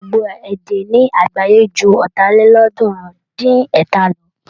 Gbogbo èdè ní àgbááyé ju Ọ̀tàlélọ́ọ̀ọ́dúnrún-dín-ẹ̀ta lọ.